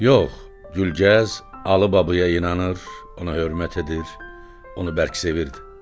Yox, Gülgəz Alı babaya inanır, ona hörmət edir, onu bərk sevirdi.